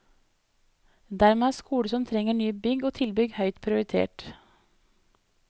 Dermed er skoler som trenger nye bygg og tilbygg høyt prioritert.